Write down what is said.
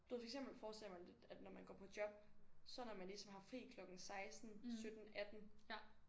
Du ved for eksempel så forestiller jeg mig lidt at når man går på job så når man ligesom har fri klokken 16 17 18